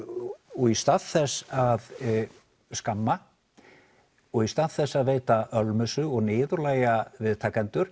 og í stað þess að skamma og í stað þess að veita ölmusu og niðurlægja viðtakendur